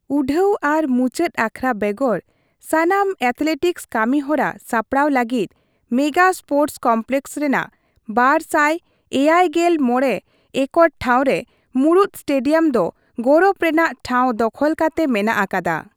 ᱩᱰᱷᱟᱹᱣ ᱟᱨ ᱢᱩᱪᱟᱹᱫ ᱟᱠᱷᱲᱟ ᱵᱮᱜᱚᱨ ᱥᱟᱱᱟᱢ ᱮᱛᱷᱞᱮᱴᱤᱠᱥ ᱠᱟᱹᱢᱤᱦᱚᱨᱟ ᱥᱟᱯᱲᱟᱣ ᱞᱟᱹᱜᱤᱫ ᱢᱮᱜᱟ ᱥᱯᱳᱨᱴᱥ ᱠᱚᱢᱯᱞᱮᱠᱥ ᱨᱮᱱᱟᱜ ᱒᱗᱕ ᱮᱠᱚᱨ ᱴᱷᱟᱶ ᱨᱮ ᱢᱩᱲᱩᱫ ᱥᱴᱮᱰᱤᱭᱟᱢ ᱫᱚ ᱜᱚᱨᱚᱵᱽ ᱨᱮᱱᱟᱜ ᱴᱷᱟᱶ ᱫᱚᱠᱷᱚᱞ ᱠᱟᱛᱮ ᱢᱮᱱᱟᱜ ᱟᱠᱟᱫᱟ ᱾